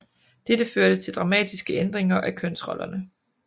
Dette førte til dramatiske ændringer af kønsrollerne